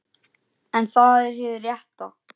En það er hið rétta.